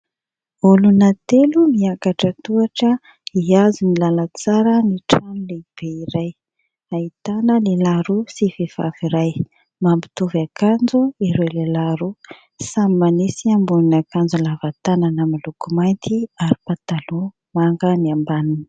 Olona telo miakatra tohatra hiazo ny lalantsara ny trano lehibe, iray ahitana lehilahy roa sy vehivavy iray, mampitovy akanjo ireo lehilahy roa. Samy manisy ambony akanjo lavatanana amin'ny loko mainty ary pataloha manga ny ambaniny.